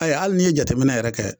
A ye hali n'i ye jateminɛ yɛrɛ kɛ